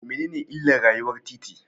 Mene ne illar rayuwar titi?